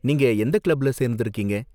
நீங்க எந்த கிளப்ல சேர்ந்திருக்கீங்க?